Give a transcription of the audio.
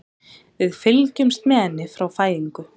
Við fylgjumst með henni frá fæðingu.